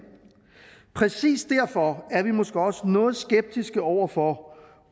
præcis derfor er vi måske også noget skeptiske over for